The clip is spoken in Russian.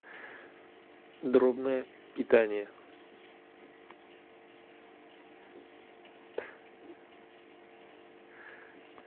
дробное питание